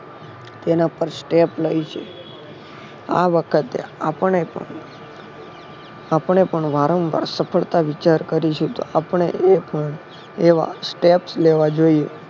તેના પર Step લેય છે. આ વખતે આપણે પણ વારંવાર સફળતા વિચાર કરીશુ તો આપણે પણ એવા Step લેવા જોયીએ